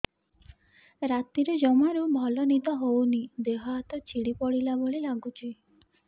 ରାତିରେ ଜମାରୁ ଭଲ ନିଦ ହଉନି ଦେହ ହାତ ଛିଡି ପଡିଲା ଭଳିଆ ଲାଗୁଚି